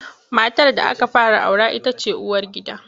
Matar da aka fara aura ita ce uwargida.